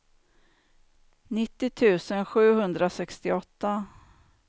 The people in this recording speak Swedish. nittio tusen sjuhundrasextioåtta